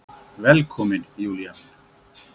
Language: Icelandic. Velkomin Júlía mín.